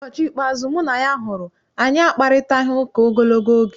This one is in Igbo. Ụbọchị ikpeazụ mụ na ya hụrụ, anyị akparịtaghị ụka ogologo oge.